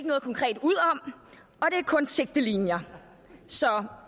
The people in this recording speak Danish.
kun sigtelinjer så